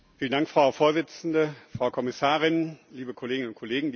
Frau Präsidentin, Frau Kommissarin, liebe Kolleginnen und Kollegen!